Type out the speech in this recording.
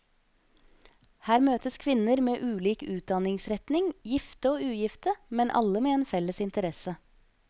Her møtes kvinner med ulik utdanningsretning, gifte og ugifte, men alle med en felles interesse.